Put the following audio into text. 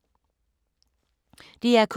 DR K